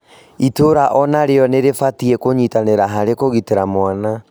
Itura ona rĩo nĩ rĩbatiĩ kũnyitanĩra harĩ kũgitĩra mwana